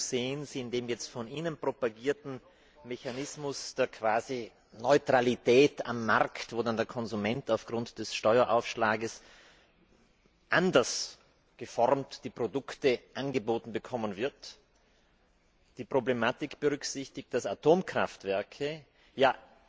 Nur wo sehen Sie in dem von Ihnen propagierten Mechanismus der Quasi Neutralität am Markt, wo dann der Konsument aufgrund des Steueraufschlages die Produkte anders geformt angeboten bekommen wird, die Problematik berücksichtigt, dass Atomkraftwerke ja